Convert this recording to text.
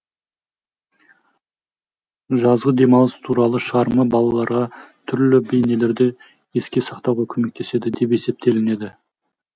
жазғы демалыс туралы шығарма балаларға түрлі бейнелерді еске сақтауға көмектеседі деп есептелінеді